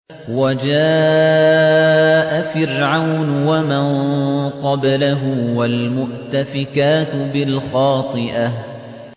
وَجَاءَ فِرْعَوْنُ وَمَن قَبْلَهُ وَالْمُؤْتَفِكَاتُ بِالْخَاطِئَةِ